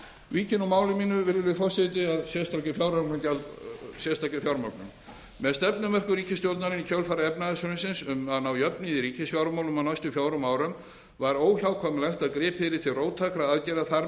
vík ég nú máli mínu virðulegi forseti að sérstakri fjármögnun með stefnumörkun ríkisstjórnarinnar í kjölfar efnahagshrunsins um að ná jöfnuði í ríkisfjármálum á næstu fjórum árum var óhjákvæmilegt að gripið yrði til róttækra aðgerða þar